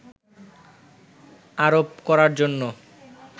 আরোপ করার জন্য